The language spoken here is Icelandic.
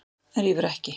En rífur ekki.